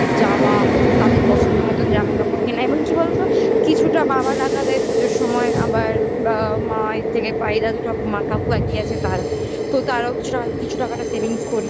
তাদের পছন্দ মতন জামা কাপড় কেনায় এবং কি বলতো কিছুটা বাবার রাখা দেয় পুজোর সময় আবার বাবা মা এর থেকে পাই দাদু ঠাকুমার কাকু একই আছে তারা তারাও কিছু টাকাতে কিছু টাকাটা savings করি